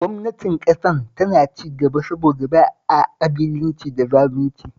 Gwamnatin Ƙasar tana cigaba saboda ba a ƙabilanci da zalunci